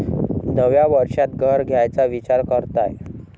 नव्या वर्षात घर घ्यायचा विचार करताय?